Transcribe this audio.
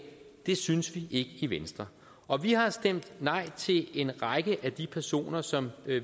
det synes vi i venstre og vi har stemt nej til en række af de personer som